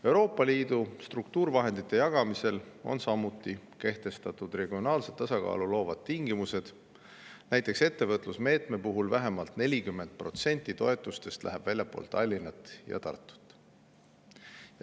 Euroopa Liidu struktuurivahendite jagamisel on samuti kehtestatud regionaalset tasakaalu loovad tingimused, näiteks ettevõtlusmeetme puhul läheb vähemalt 40% toetustest väljapoole Tallinna ja Tartut.